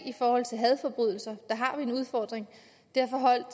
i forhold til hadforbrydelser derfor holdt